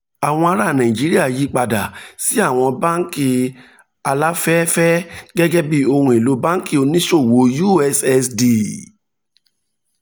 àwọn ará nàìjíríà yí padà sí àwọn báńkì aláfẹ̀ẹ́fẹ̀ẹ́ gẹ́gẹ́ bí ohun elo báńkì oníṣòwò ussd